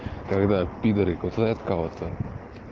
когда пидеры кусают кого-то